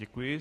Děkuji.